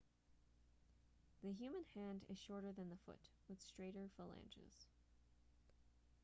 the human hand is shorter than the foot with straighter phalanges